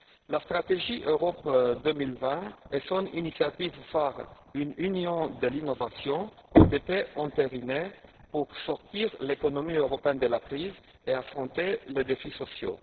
La stratégie Europe 2020 et son initiative phare, une Union de l'innovation, ont été entérinées pour sortir l'économie européenne de la crise et affronter les défis sociaux.